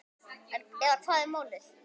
Eða hvað er málið?